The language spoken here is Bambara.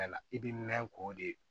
I bɛ mɛn k'o de